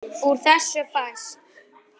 Úr þessu fæst